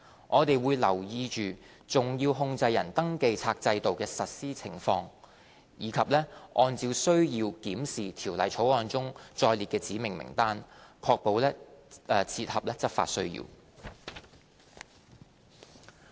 我們會留意重要控制人登記冊制度的實施情況，以及按需要檢視《條例草案》中載列的指明名單，確保切合執法需要。